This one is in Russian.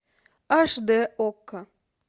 аш д окко